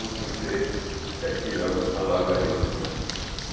Um sujeito caipirão que falava isso.